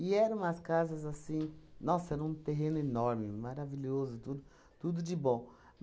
E eram umas casas assim... Nossa, era um terreno enorme, maravilhoso, tudo tudo de bom.